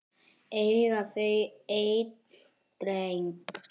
Eiga þau einn dreng.